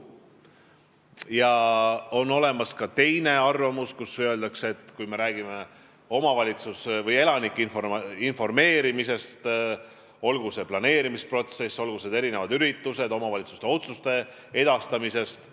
Ja on ka teine arvamus, mille järgi on see mõistlik, kui me räägime elanike informeerimisest, olgu planeerimisprotsessist, erinevatest üritustest või omavalitsuste otsuste edastamisest.